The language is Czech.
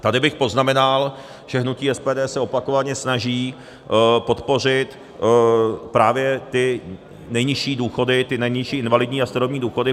Tady bych poznamenal, že hnutí SPD se opakovaně snaží podpořit právě ty nejnižší důchody, ty nejnižší invalidní a starobní důchody.